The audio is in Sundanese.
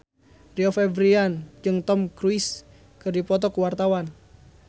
Rio Febrian jeung Tom Cruise keur dipoto ku wartawan